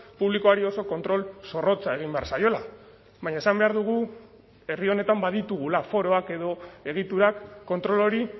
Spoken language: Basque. publikoari oso kontrol zorrotza egin behar zaiola baina esan behar dugu herri honetan baditugula foroak edo egiturak kontrol hori